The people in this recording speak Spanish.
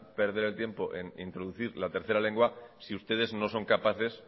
perder el tiempo en introducir la tercera lengua si ustedes no son capaces